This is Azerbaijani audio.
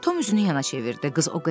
Tom üzünü yana çevirdi.